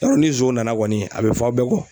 Yɔrɔ ni zon nana kɔni a bɛ fɔ a' bɛɛ kɔ.